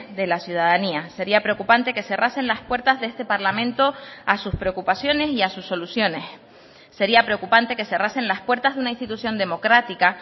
de la ciudadanía sería preocupante que cerrasen las puertas de este parlamento a sus preocupaciones y a sus soluciones sería preocupante que cerrasen las puertas de una institución democrática